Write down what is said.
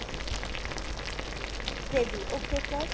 gravy okay sir ।